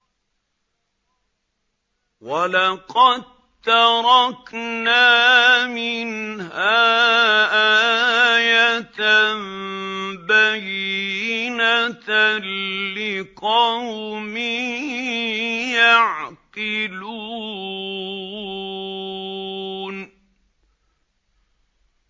وَلَقَد تَّرَكْنَا مِنْهَا آيَةً بَيِّنَةً لِّقَوْمٍ يَعْقِلُونَ